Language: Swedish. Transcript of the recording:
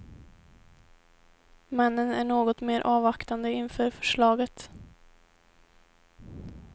Männen är något mer avvaktande inför förslaget.